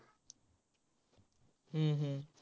हम्म हम्म